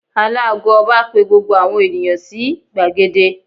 Alàago Ọba pe gbogbo àwọn ènìyàn sí gbàgede